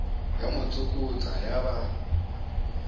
ya mo tsokotsa ya ba